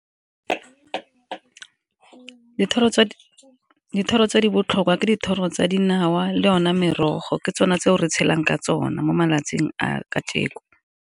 Dithoro tse di botlhokwa ke dithoro tsa dinawa le one merogo, ke tsona tseo re tshelang ka tsone mo malatsing a kajeko.